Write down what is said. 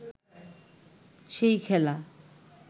সেই খেলা